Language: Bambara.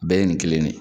Bɛɛ ye nin kelen de ye